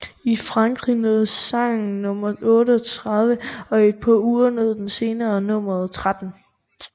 I Frankrig nåede sangen nummer 38 og et par uger nåede senere nummer 13